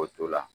K'o to la